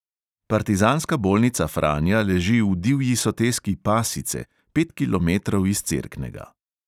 Partizanska bolnica franja leži v divji soteski pasice, pet kilometrov iz cerknega.